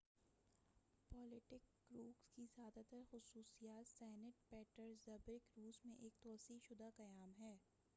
Baltic cruise کی زیادہ تر خصوصیت سینٹ پیٹرزبرگ روس میں ایک توسیع شدہ قیام ہے